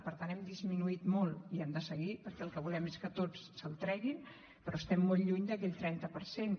per tant l’hem disminuït molt i hem de seguir perquè el que volem és que tots se’l treguin però estem molt lluny d’aquell trenta per cent